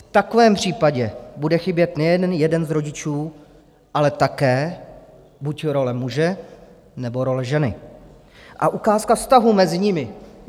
V takovém případě bude chybět nejen jeden z rodičů, ale také buď role muže, nebo role ženy a ukázka vztahu mezi nimi.